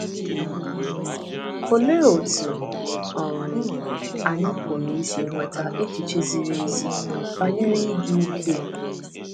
Olee otú um anyị pụrụ isi nweta echiche ziri ezi banyere ịdị ukwuu?